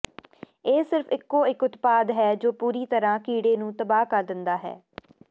ਇਹ ਸਿਰਫ ਇਕੋ ਇਕ ਉਤਪਾਦ ਹੈ ਜੋ ਪੂਰੀ ਤਰ੍ਹਾਂ ਕੀੜੇ ਨੂੰ ਤਬਾਹ ਕਰ ਦਿੰਦਾ ਹੈ